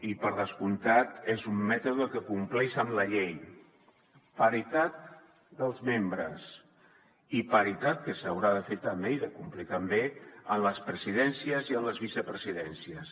i per descomptat és un mètode que compleix amb la llei paritat dels membres i paritat que s’haurà de fer també i de complir també en les presidències i en les vicepresidències